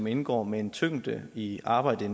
indgår med en tyngde i arbejdet